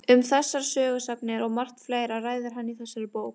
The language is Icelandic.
Um þessar sögusagnir og margt fleira ræðir hann í þessari bók.